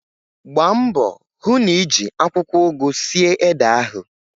Gbambo hu n'iji akwukwo ugu sie ede ahu